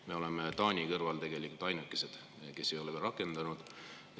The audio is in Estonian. Me oleme Taani kõrval ainukesed, kes ei ole neid veel rakendanud.